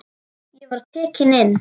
Ég var tekinn inn.